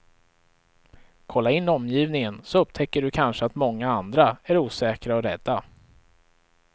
Kolla in omgivningen, så upptäcker du kanske att många andra är osäkra och rädda.